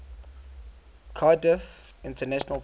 cardiff international pool